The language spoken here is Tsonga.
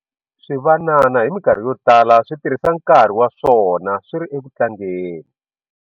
Swivanana hi mikarhi yo tala swi tirhisa nkarhi wa swona swi ri eku tlangeni.